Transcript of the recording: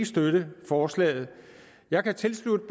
støtte forslaget jeg kan tilslutte